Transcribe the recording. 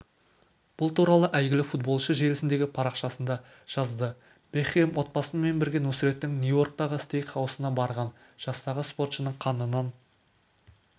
бұл туралы әйгілі футболшы желісіндегі парақшасында жазды бекхэм отбасымен бірге нусреттің нью-йорктағы стейк-хаусына барған жастағы спортшының қанынан